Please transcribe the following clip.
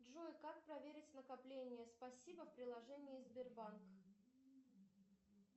джой как проверить накопление спасибо в приложении сбербанк